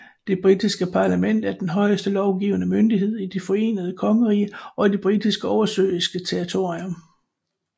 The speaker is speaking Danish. Det britiske parlament er den højeste lovgivende myndighed i Det forenede kongerige og de britiske oversøiske territorier